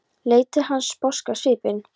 Leit til hans sposk á svipinn.